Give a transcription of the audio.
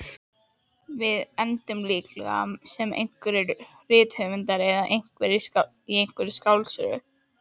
Við endum líklega sem rithöfundar eða í einhverri skáldsögu.